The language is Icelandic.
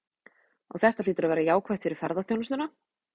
Og þetta hlýtur að vera jákvætt fyrir ferðaþjónustuna?